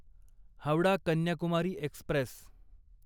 Howrah Kanyakumari Express